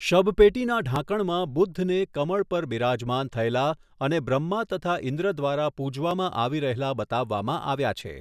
શબપેટીના ઢાંકણમાં બુદ્ધને કમળ પર બિરાજમાન થયેલા અને બ્રહ્મા તથા ઇન્દ્ર દ્વારા પૂજવામાં આવી રહેલા બતાવવામાં આવ્યા છે.